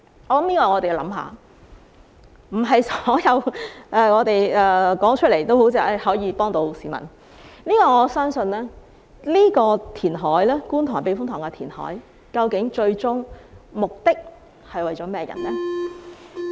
並非凡是議員提出的議案都可以幫助市民，但究竟觀塘避風塘填海的最終目的是為了甚麼人？